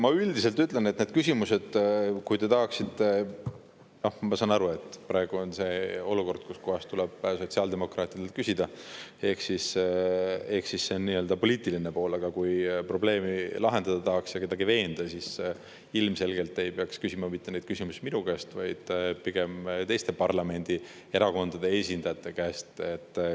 Ma üldiselt ütlen, et nendesse küsimustesse – ma saan aru, et praegu on selline olukord, kus tuleb ka sotsiaaldemokraatidelt küsida, see on asja nii-öelda poliitiline külg –, siis kui tahetakse probleemi lahendada ja kedagi veenda, siis ilmselgelt ei peaks küsima neid küsimusi minu käest, vaid pigem teiste parlamendierakondade esindajate käest.